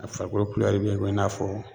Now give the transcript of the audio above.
A farikolo bɛ i ko i n'a fɔ